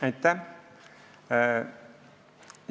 Aitäh!